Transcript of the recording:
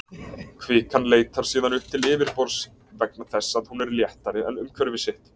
Kvikan leitar síðan upp til yfirborðs vegna þess að hún er léttari en umhverfi sitt.